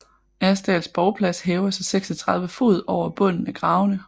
Asdals borgplads hæver sig 36 fod over bunden af gravene